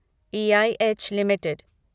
EIH limited